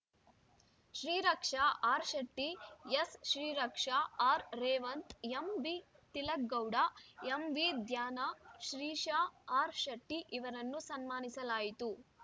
Shreeraksha ಆರ್‌ಶೆಟ್ಟಿ S Shreeraksha ಆರ್‌ರೇವಂತ್‌ ಎಂಬಿತಿಲಕ್‌ Gowda ಎಂವಿಧ್ಯಾನ್‌ Shrisha ಆರ್‌ಶೆಟ್ಟಿಇವರನ್ನು ಸನ್ಮಾನಿಸಲಾಯಿತು